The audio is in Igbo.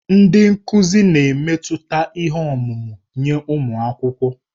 Ndị nkuzi na-emetụta ihe ọmụma nye ụmụ akwụkwọ.